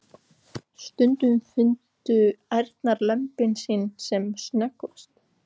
Stundum fundu ærnar lömbin sín sem snöggvast.